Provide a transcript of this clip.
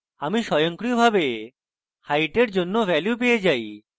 আমি স্বয়ংক্রিয়ভাবে height এর জন্য value পেয়ে যাই